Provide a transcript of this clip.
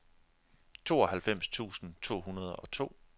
tooghalvfems tusind to hundrede og to